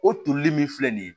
O tolili min filɛ nin ye